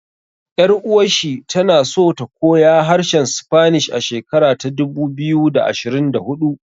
Ƴar uwar shi tana so ta koya harshen Spanish a shekara ta dubu biyu da ashirin da huɗu